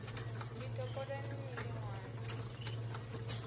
ḽi topoleni ni ḽi ṅwale